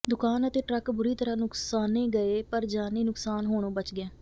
ਦੁਕਾਨ ਅਤੇ ਟਰੱਕ ਬੁਰੀ ਤਰ੍ਹਾਂ ਨੁਕਸਾਨੇ ਗਏ ਪਰ ਜਾਨੀ ਨੁਕਸਾਨ ਹੋਣੋਂ ਬਚ ਗਿਆ